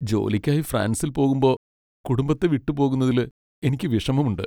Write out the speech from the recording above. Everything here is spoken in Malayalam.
ജോലിക്കായി ഫ്രാൻസിൽ പോകുമ്പോ കുടുംബത്തെ വിട്ടുപോകുന്നതില് എനിക്ക് വിഷമമുണ്ട്.